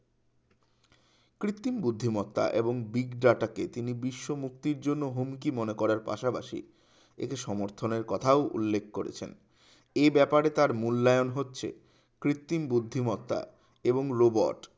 কৃত্রিম বুদ্ধিমত্তা এবং বিগ যাটাকে তিনি বিশ্ব মুক্তির জন্য হুমকি মনে করার পাশাপাশি এটি সমর্থনের কথা উল্লেখ করেছেন এই ব্যাপারে তার মূল্যায়ন হচ্ছে কৃত্রিম বুদ্ধিমত্তা এবং robot